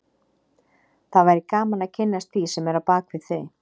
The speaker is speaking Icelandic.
Það væri gaman að kynnast því sem er á bak við þau